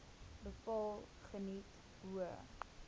bepaal geniet hoë